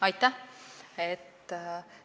Aitäh!